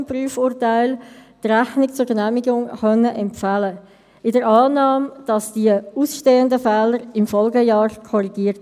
Die fondsfinanzierten Investitionen sollen künftig im Zeitpunkt der Fondsentnahme vollständig abgeschrieben werden (wie vormals unter HRM1).